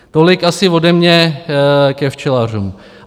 Tolik asi ode mě ke včelařům.